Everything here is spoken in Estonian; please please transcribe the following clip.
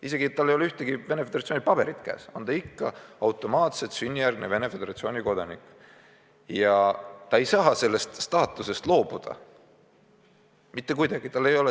Isegi kui tal ei ole ühtegi Venemaa Föderatsiooni dokumenti käes, on ta ikka automaatselt sünnijärgne Venemaa Föderatsiooni kodanik ja ta ei saa sellest staatusest loobuda mitte kuidagi.